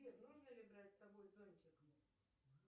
сбер нужно ли брать с собой зонтик